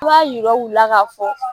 I b'a yira u la ka fɔ